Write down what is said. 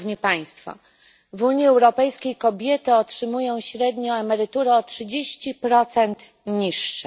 W Unii Europejskiej kobiety otrzymują średnio emerytury o 30 niższe.